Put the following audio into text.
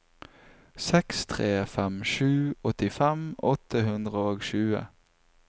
seks tre fem sju åttifem åtte hundre og tjue